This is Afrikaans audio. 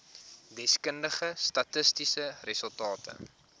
deskundige statistiese resultate